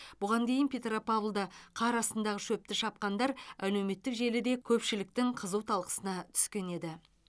бұған дейін петропавлда қар астындағы шөпті шапқандар әлеуметтік желіде көпшіліктің қызу талқысына түскен еді